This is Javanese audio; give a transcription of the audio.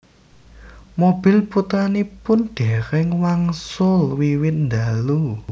Mobil putranipun déréng wangsul wiwit ndalu